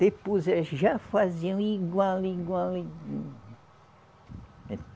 Depois elas já faziam igual, igual